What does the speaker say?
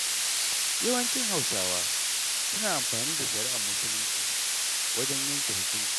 Yawancin Hausawa suna amfani da shari'ar Muslunci, wajen yanke hukunci.